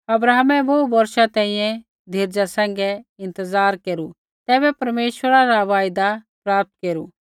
अब्राहमै बोहू बौर्षा तैंईंयैं धीरजा सैंघै इंतज़ार केरू तैबै परमेश्वरा रा वायदा प्राप्त केरु